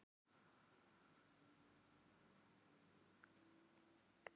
Hún æpti upp yfir sig sem vonlegt var.